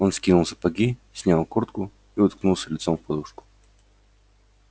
он скинул сапоги снял куртку и уткнулся лицом в подушку